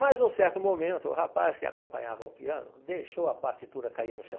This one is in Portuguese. Mas num certo momento, o rapaz que acompanhava o piano deixou a partitura cair no chão.